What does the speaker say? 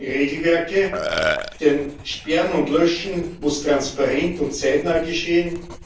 Wir brauchen Regelwerke, denn Sperren und Löschen muss transparent und zeitnah geschehen.